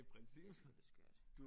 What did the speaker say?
Jeg synes det skørt